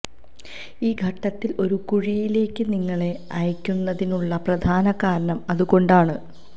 ഈ ഘട്ടത്തിൽ ഒരു കുഴിയിലേക്ക് നിങ്ങളെ അയയ്ക്കുന്നതിനുള്ള പ്രധാന കാരണം അതുകൊണ്ടാണ്